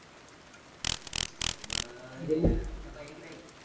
बडिया हे पहा इकडे एक